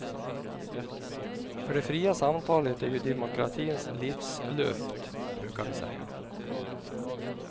För det fria samtalet är ju demokratins livsluft, brukar vi säga.